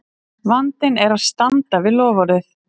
Vandinn er að standa við loforðið!